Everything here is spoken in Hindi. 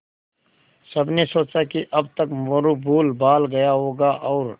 सबने सोचा कि अब तक मोरू भूलभाल गया होगा और